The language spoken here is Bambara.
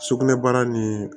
Sugunɛbara nin